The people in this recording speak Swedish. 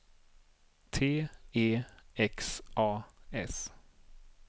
T E X A S